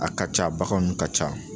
A ka ca baganw nu ka ca